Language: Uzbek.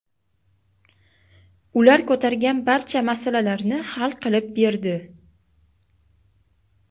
ular ko‘targan barcha masalalarni hal qilib berdi.